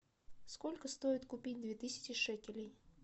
сколько стоит купить две тысячи шекелей